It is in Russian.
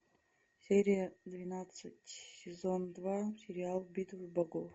серия двенадцать сезон два сериал битвы богов